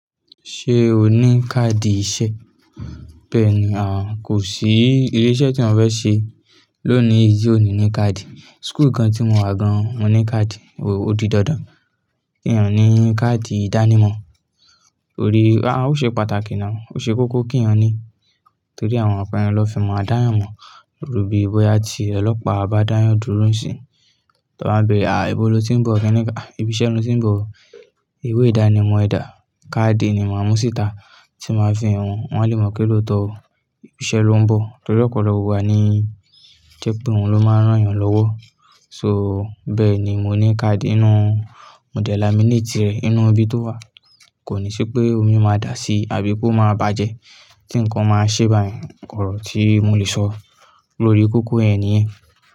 Ṣé o ní káàdì iṣẹ́? Bẹ́ẹ̀ni, àhn kò sí ilé-iṣẹ́ tí eeyan fe ṣe lónìí, yí ò ní ní káàdì. School kan tí mo wà gan-an mò ní káàdì, ò di dandan kí ènìyàn ní káàdì ìdánimọ̀. Orí, aà, ó ṣe pàtàkì now, ó ṣe kókó kí èeyàn ní, torí àwọn ọnkan yen ló fi maa a dayan mọ̀ irú bí bóyá ti ọlọ́pàá bá dáyan dúró nisinyi, tí wọ́n bá bẹ̀rẹ̀, "à, ebo lo tí ń bọ̀, kẹ́ ní ká, ibi iṣẹ́ lo tí ń bọ̀?" Iwé ìdánimọ̀ ẹ̀ dá, káàdì ni máa mú síta tí máa fi hàn wọ́n, wọ́n á le mọ̀ pẹ́ lóòótọ́ oo ibi iṣẹ́ lo ń bọ̀. Torí ọ̀pọ̀lọpọ̀ igba ní o jẹ́ pé òun ló máa n rán èèyàn lọ́wọ́. So, bẹ́ẹ̀ ni mo ní káàdì inú, mo de lamineeti rẹ̀ inú ibi tó wà, kò ní ṣé pé omi máa dà síi àbí pé ó máa bàjẹ́ tí nǹkan máa ṣe báyen, orò tí mo lè sọ lórí kókó yen niyẹn.